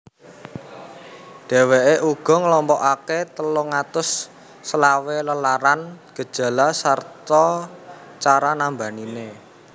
Dheweke uga nglompokake telung atus selawe lelaran gejala sarta cara nambanine